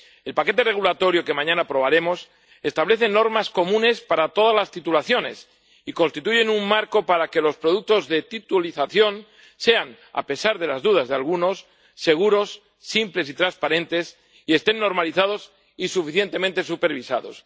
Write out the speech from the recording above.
El paquete regulatorio que mañana aprobaremos establece normas comunes para todas las titulizaciones y constituye un marco para que los productos de titulización sean, a pesar de las dudas de algunos, seguros, simples y transparentes, y estén normalizados y suficientemente supervisados.